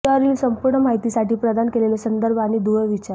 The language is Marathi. विषयावरील संपूर्ण माहितीसाठी प्रदान केलेले संदर्भ आणि दुवे विचारा